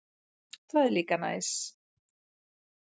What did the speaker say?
Það er líka næs.